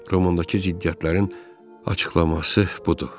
Romandakı ziddiyyətlərin açıqlaması budur.